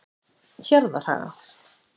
Hjarðarhaga